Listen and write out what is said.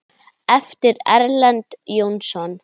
eftir Erlend Jónsson